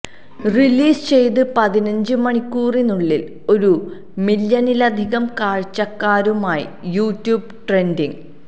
release ചെയ്ത് പതിനഞ്ച് മണിക്കൂറിനുള്ളില് ഒരു മില്യണിലധികം കാഴ്ചക്കാരുമായി യൂട്യൂബ് ട്രെന്ഡിങില്